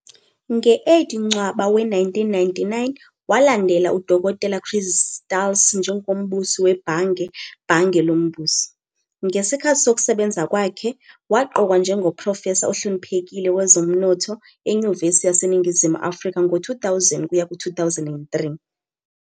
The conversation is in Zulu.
Nge-8 Ncwaba we-1999 walandela uDokotela Chris Stals njengoMbusi weBhange Bhange loMbuso. Ngesikhathi sokusebenza kwakhe, waqokwa njengoProfesa ohloniphekile wezoMnotho eNyuvesi yaseNingizimu Afrika ngo-2000 kuya ku-2003.